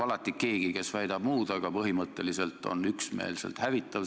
Alati leidub keegi, kes väidab muud, aga põhimõtteliselt on hinnang üksmeelselt hävitav.